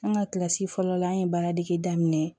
An ka kilasi fɔlɔ la an ye baaradege daminɛ